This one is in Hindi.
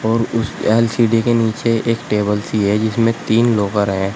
उसे उस एल_सी_डी के नीचे एक टेबल सी है जिसमें तीन लॉकर हैं।